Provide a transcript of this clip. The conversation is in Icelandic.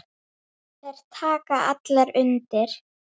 En slíkt gerist ekki hér.